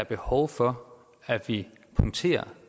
behov for at vi punkterer